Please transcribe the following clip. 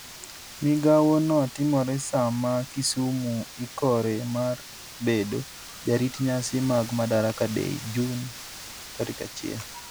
Migawono timore sama Kisumu ikore mar bedo jarit nyasi mag Madaraka Day Jun 1.